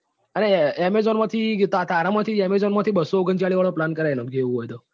અલ્યા amazon માંથી તારા માંથી amazon માંથી બસ્સો ઓગણચાલીસ વાળો plan કરાઈ નાખજે એવું હોય તો.